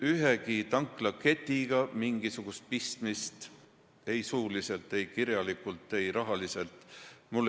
Ühegi tanklaketiga mul mingisugust pistmist ei suuliselt, kirjalikult ega rahaliselt ei ole.